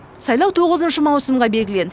сайлау тоғызыншы маусымға белгіленді